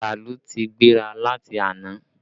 Bàálù ti gbéra láti àná